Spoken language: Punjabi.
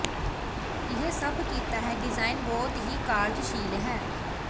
ਇਹ ਸਭ ਕੀਤਾ ਹੈ ਡਿਜ਼ਾਇਨ ਬਹੁਤ ਹੀ ਕਾਰਜਸ਼ੀਲ ਹੈ